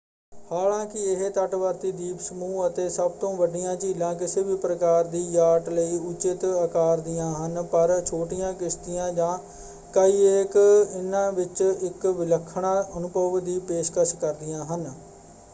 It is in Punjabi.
ਹਾਲਾਂਕਿ ਇਹ ਤਟਵਰਤੀ ਦੀਪ ਸਮੂਹ ਅਤੇ ਸਭ ਤੋਂ ਵੱਡੀਆਂ ਝੀਲਾਂ ਕਿਸੇ ਵੀ ਪ੍ਰਕਾਰ ਦੀ ਯਾਟ ਲਈ ਉਚਿਤ ਆਕਾਰ ਦੀਆਂ ਹਨ ਪਰ ਛੋਟੀਆਂ ਕਿਸ਼ਤੀਆਂ ਜਾਂ ਕਾਈਐਕ ਇਨ੍ਹਾਂ ਵਿੱਚ ਇੱਕ ਵਿਲੱਖਣਾ ਅਨੁਭਵ ਦੀ ਪੇਸ਼ਕਸ਼ ਕਰਦੀਆਂ ਹਨ।